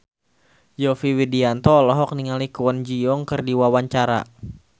Yovie Widianto olohok ningali Kwon Ji Yong keur diwawancara